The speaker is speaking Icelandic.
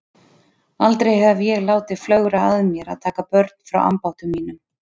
Aldrei hef ég látið flögra að mér að taka börn frá ambáttum mínum.